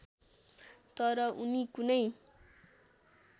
तर उनी कुनै